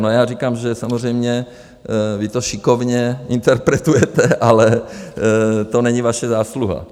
No, já říkám, že samozřejmě vy to šikovně interpretujete, ale to není vaše zásluha.